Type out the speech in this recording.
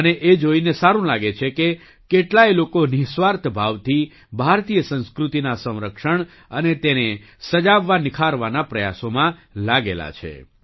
મને એ જોઈને સારું લાગે છે કે કેટલાય લોકો નિઃસ્વાર્થ ભાવથી ભારતીય સંસ્કૃતિના સંરક્ષણ અને તેને સજાવવાનિખારવાના પ્રયાસોમાં લાગેલા છે